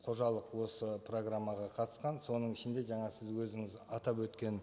қожалық осы программаға қатысқан соның ішінде жаңа сіз өзіңіз атап өткен